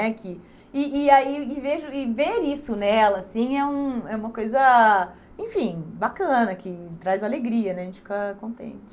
né que, e e aí e vejo, E ver isso nela assim é um é uma coisa enfim bacana, que traz alegria né, a gente fica contente.